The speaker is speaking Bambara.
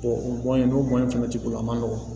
o in n'o kɛmɛ t'i bolo a man nɔgɔn